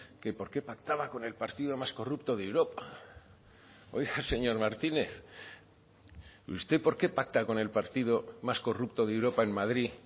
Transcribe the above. que por qué pactaban con el partido más corrupto de europa oiga señor martínez y usted por qué pacta con el partido más corrupto de europa en madrid